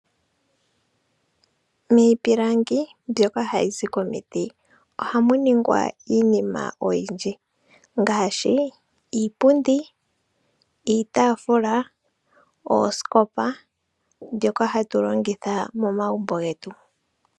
Miipilangi mbyoka hayi zi komiti ohamu ningwa iinima oyindji ngaashi iipundi, iitaafula, oosikopa mbyoka hatu longitha momagumbo getu.